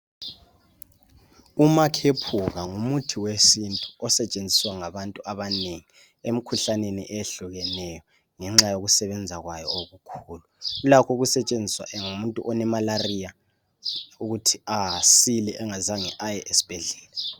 Umakhephuka ngumuthi wesintu osetshenziswa ngabantu abanengi emikhuhlaneni ehlukeneyo ngenxa yokusebenza kwayo okukhulu. Ulakho ukusetshenziswa ngumuntu oloqhuqho ukuthi asile engazange aye esibhedlela.